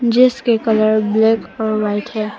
जिसके colour black और white है।